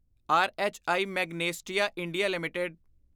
ਰਹੀ Magnesita India LTD